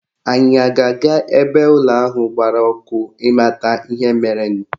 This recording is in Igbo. Anyị a ga-aga ebe ụlọ ahụ gbara ọkụ ịmata ihe merenụ?